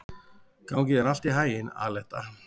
Gangi þér allt í haginn, Aletta.